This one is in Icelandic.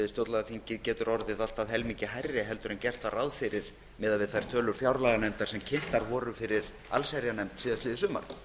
stjórnlagaþingið getur orðið allt að helmingi hærri en gert var ráð fyrir miðað við tölur fjárlaganefndar sem kynntar voru fyrir allsherjarnefnd síðasta sumar